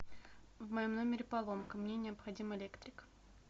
в моем номере поломка мне необходим электрик